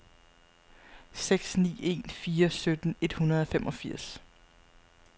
seks ni en fire sytten et hundrede og femogfirs